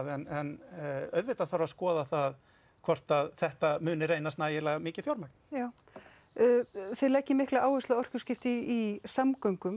en auðvitað þarf að skoða það hvort að þetta muni reynast nægilega mikið fjármagn þið leggið mikla áherslu á orkuskipti í samgöngum